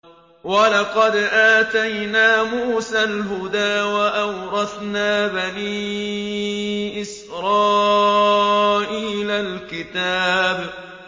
وَلَقَدْ آتَيْنَا مُوسَى الْهُدَىٰ وَأَوْرَثْنَا بَنِي إِسْرَائِيلَ الْكِتَابَ